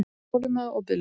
Þolinmæði og biðlund.